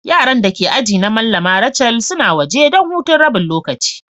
Yaran da ke ajina Mallama Rachel suna waje dan hutun rabin lokaci.